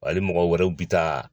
Hali mɔgɔ wɛrɛw bi taa